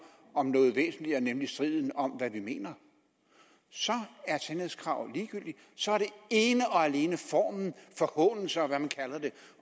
om noget væsentligere nemlig striden om hvad vi mener så er sandhedskravet ligegyldigt så er det ene og alene formen forhånelse og hvad man kalder det